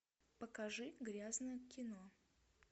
покажи грязное кино